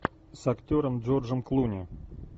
с актером джорджем клуни